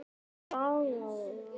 Nú ræsir einhver bíl.